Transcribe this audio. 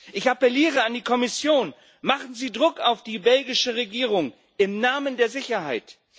Ich appeliere an die Kommission Machen Sie Druck auf die belgische Regierung, im Namen der Sicherheit!